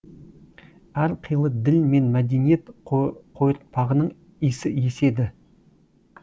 әрқилы діл мен мәдениет қойыртпағының исі еседі